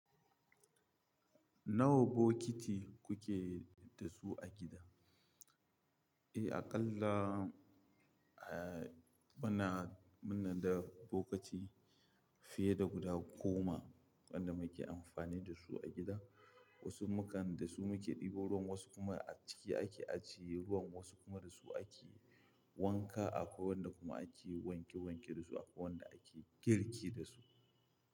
Nawa bokiti kuke da su a gida? Eh, aƙalla eh, muna, muna da bokiti fiye da guda goma wanda muke amfani da su a gida. Wasu mukan da su muke ɗebo ruwan, wasu kuma a ciki ake ajiye ruwan, wasu kuma da su ake wanka akwai wanda kuma ake wanke wanke da su, akwai wanda ake girki da su.